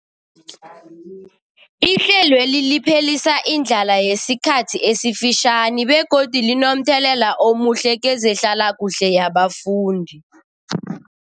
Ihlelweli liphelisa indlala yesikhathi esifitjhani begodu linomthelela omuhle kezehlalakuhle yabafundi.